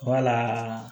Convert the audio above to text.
Wala